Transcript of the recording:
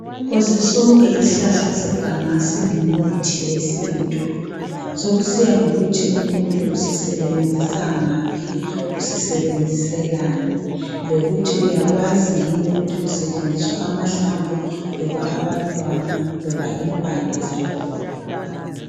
Phose sonke ishlahla seganga singumuthi wesintu. Sokusiya ngokuthi umuntu usisebenzisa ngaphi, usisebenziselani. Lokuthi uyakwazi yini ukuthi kusetshenziswa amahlamvu, loba abantwana, loba impande zakhona.